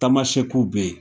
Tamasɛkiw bɛ yen.